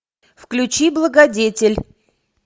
включи благодетель